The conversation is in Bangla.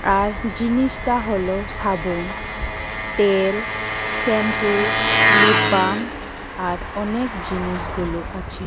আর জিনিসটা হলো সাবুন তেল শ্যাম্পু লিপ বাম আর অনেক জিনিস গুলো আছে।